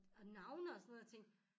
Og navne og sådan noget jeg tænkte